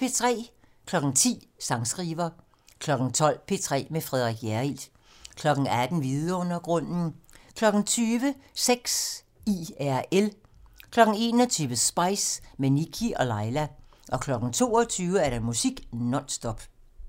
10:00: Sangskriver 12:00: P3 med Frederik Hjerrild 18:00: Vidundergrunden 20:00: Sex IRL 21:00: Spice - med Nikkie og Laila 22:00: Musik non stop